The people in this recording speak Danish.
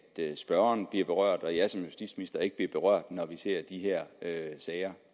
spørgeren bliver berørt og jeg som justitsminister ikke bliver berørt når vi ser de her sager